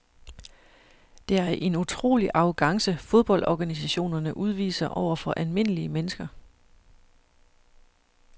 Det er en utrolig arrogance fodboldorganisationerne udviser over for almindelige mennesker.